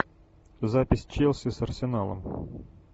запись челси с арсеналом